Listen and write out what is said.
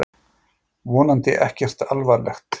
Vonandi ekkert alvarlegt!